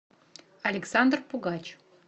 александр пугач